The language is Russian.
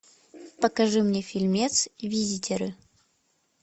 покажи мне фильмец визитеры